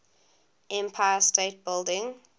empire state building